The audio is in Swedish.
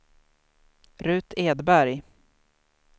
Rut Edberg